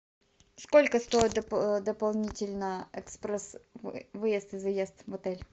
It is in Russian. сколько стоит дополнительно экспресс выезд и заезд в отель